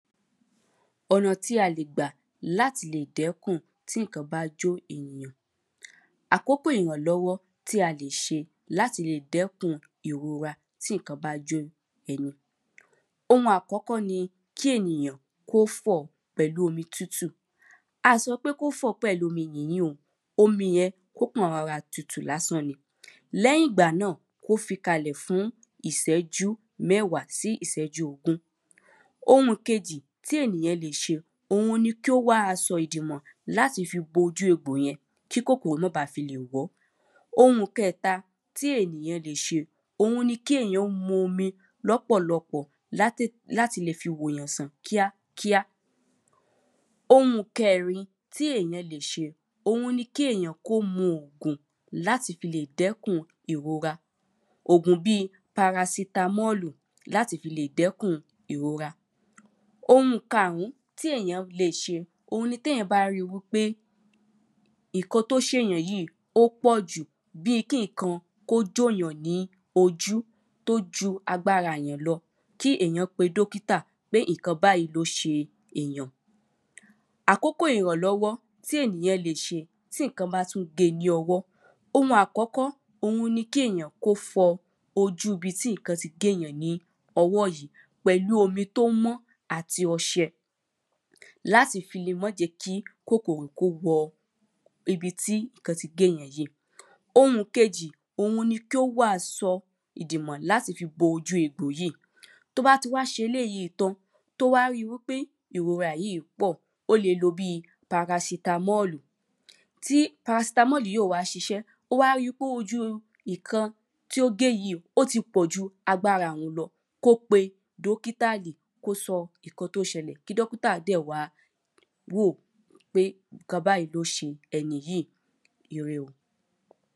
Ọ̀nà tí a lè gbà láti lè dẹ́kùn tí nǹkan bá jó ènìyàn àkókò ìrànlọ́wọ́ tí a lè ṣe láti lè dẹ́kùn ìrora tí nǹkan bá jó ẹni. Oun àkọ́kọ́ ni kí ènìyàn kó fọ̀ pẹ̀lú omi tútù a sọ pé kó fọ̀ pẹ̀lú omi mí o omi yẹn kó kàn rọra tutù lásán ni. Lẹ́yìn ìgbà ná kó fi kalẹ̀ fún ìsẹ́jú mẹ́wàá sí ìsẹ́jú ogún. Oun kejì tí ènìyàn lè ṣe òun ni kó wá aṣọ ìdìmọ̀ láti fi bo ojú egbò yẹn tí kòkòrò má ba fi lè wọ̀ọ́. Oun kẹta tí ènìyàn lè ṣe oun ni kí èyàn bu omi lọ́pọ̀ lọpọ̀ látè láti le fi tètè wò yàn sàn kíákíá. Oun kẹrin tí ènìyàn lè ṣe oun ni kí èyàn kó mu òògùn láti fi lè dẹ́kùn ìrora òògùn bí parasitamọ́lù, láti fi lè dẹ́kùn ìrora. Oun karùn tí ènìyàn lè ṣe òun ni téyàn bá rí wípé nǹkan tó ṣè yàn yíì ó pọ̀jù bí kí nǹkan kó jó yàn ní ojú tó ju agbára èyàn lọ kí èyàn pe dọ́kítà pé nǹkan báyìí ló ṣe èyàn. àkókò ìrànlọ́wọ́ tí ènìyàn lè ṣe tí nǹkan bá tún gé ní ọwọ́. Oun àkọ́kọ́ ni kí ènìyàn kó fọ ojú ibi tí nǹkan tí gé yàn ní ọwọ́ yìí pẹ̀lú omi tó mọ́ àti ọṣẹ láti fi le má jẹ́ kí kòkòrò kó wọ ibi tí nǹkan ti gé yàn yíì. Oũ kejì òun ní kí ó wá asọ̀ ìdìmọ̀ láti fi bo ojú egbò yíì. Tó bá ti wá ṣe eléèyí tán tó wá rí pé ìrora yíì pọ̀ ó le lo bí parasitamọ́lù tí parasitamọ́lù yíì ò bá ṣiṣẹ́ ó wá rí pé ojú ìkan tí ó gé yíì ó ti pọ̀ ju agbára òun lọ kó pe dọ́kítàlì kó sọ nǹkan tó ṣẹlẹ̀ kí dọ́kítà dẹ̀ wá wò pé nǹkan báyìí ló ṣe ẹniyìí ire o